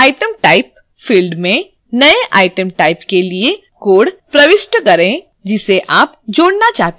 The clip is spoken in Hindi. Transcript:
item type field में नएँ item type के लिए code प्रविष्ट करें जिसे आप जोड़ना चाहते हैं